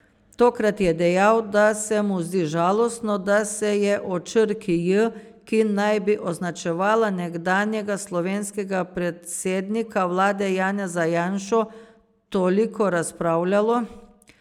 Tokrat je dejal, da se mu zdi žalostno, da se je o črki J, ki naj bi označevala nekdanjega slovenskega predsednika vlade Janeza Janšo, toliko razpravljalo.